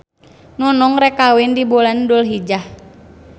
Nunung rek kawin di bulan dulhijjah